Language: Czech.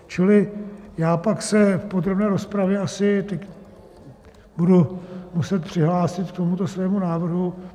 Čili já pak se v podrobné rozpravě asi budu muset přihlásit k tomuto svému návrhu.